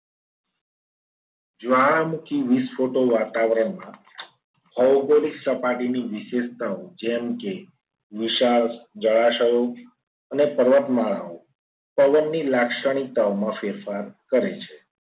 જ્વાળામુખી વિશ્વના વાતાવરણમાં ભૌગોલિક સપાટીની વિશેષતાઓ જેમ કે વિશાળ જળાશયો અને પર્વતમાળાઓ પવનની લાક્ષણિકતાઓ માં ફેરફાર કરે છે.